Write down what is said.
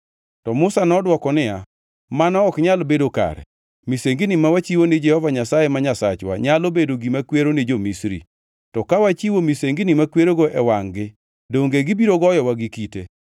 To Musa nodwoko niya, “Mano ok nyal bedo kare. Misengini ma wachiwo ni Jehova Nyasaye ma Nyasachwa nyalo bedo gima kwero ni jo-Misri. To ka wachiwo misengini makwerogo e wangʼ-gi, donge gibiro goyowa gi kite?